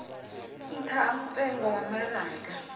nṱha ha mutengo wa maraga